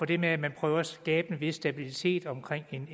det med at man prøver at skabe en vis stabilitet omkring en